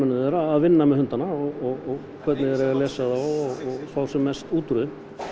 þeirra að vinna með hundana og hvernig þeir eigi að lesa þá og fá sem mest út úr þeim